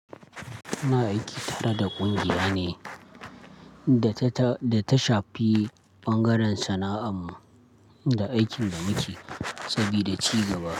Muna aiki tare da ƙungiya ne da ta, da ta shafi bangaren sana'an mu da aikin da muke sabida ci gaba.